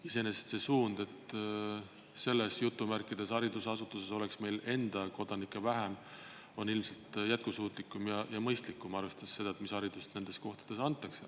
Iseenesest see suund, et selles "haridusasutuses" oleks meil enda kodanikke vähem, on ilmselt jätkusuutlikum ja mõistlikum, arvestades seda, mis haridust nendes kohtades antakse.